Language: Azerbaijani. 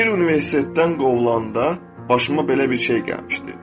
Bir universitetdən qovulanda başıma belə bir şey gəlmişdi.